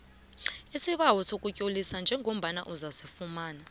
isibawo sokuzitlolisa njengozakufumana